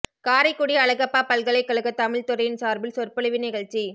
காரைக்குடி அழகப்பா பல்கலைக்கழக தமிழ்த் துறையின் சார்பில் சொற்பொழிவு நிகழ்ச்சி